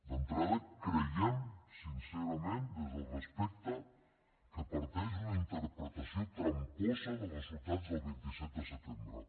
d’entrada creiem sincerament des del respecte que parteix d’una interpretació tramposa dels resultats del vint set de setembre